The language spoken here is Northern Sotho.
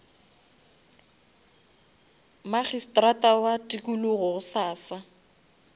magistrata wa tikologo gosasa